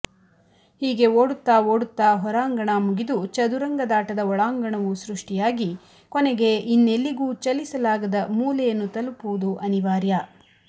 ಹೀಗೆ ಓಡುತ್ತ ಓಡುತ್ತ ಹೊರಾಂಗಣ ಮುಗಿದು ಚದುರಂಗದಾಟದ ಒಳಾಂಗಣವು ಸೃಷ್ಟಿಯಾಗಿ ಕೊನೆಗೆ ಇನ್ನೆಲ್ಲಿಗೂ ಚಲಿಸಲಾಗದ ಮೂಲೆಯನ್ನು ತಲುಪುವುದು ಅನಿವಾರ್ಯ